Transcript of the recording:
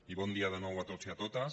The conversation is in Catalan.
i bon dia de nou a tots i a totes